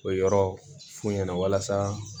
O yɔrɔ f'u ɲɛna walasa